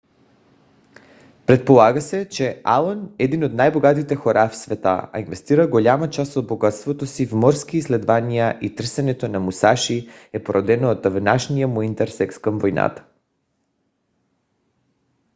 предполага се че алън един от най-богатите хора в света е инвестирал голяма част от богатството си в морски изследвания и търсенето на мусаши е породено от отдавнашния му интерес към войната